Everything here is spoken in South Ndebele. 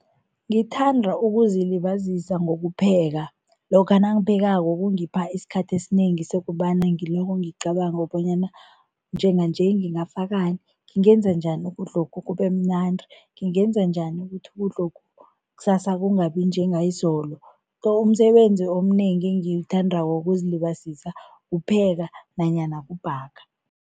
Ngithanda ukuzilibazisa ngokupheka. Lokha nangiphekako kungipha isikhathi esinengi sokobana ngiloko ngicabanga bonyana njenganje ngingafakani, ngingenza njani ukudlokhu kubemnandi, ngingenza njani ukuthi ukudlokhu kusasa kungabi njengayizolo, umsebenzi omnengi engiwuthandako wokuzilibazisa kupheka nanyana kubhaga.